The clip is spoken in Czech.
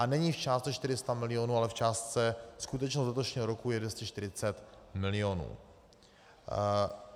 A není v částce 400 milionů, ale v částce - skutečnost letošního roku je 240 milionů.